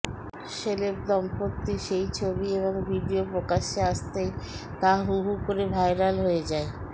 celeb দম্পতির সেই ছবি এবং ভিডিয়ো প্রকাশ্যে আসতেই তা হু হু করে ভাইরাল হয়ে যায়